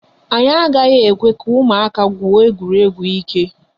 Anyị agaghị ekwe ka ụmụaka gwuo egwuregwu ike.